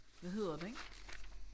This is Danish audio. Hvad hedder den?